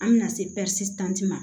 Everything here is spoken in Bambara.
An bɛna se tanti ma